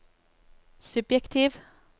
subjektiv